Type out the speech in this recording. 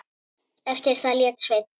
Eftir það lét Sveinn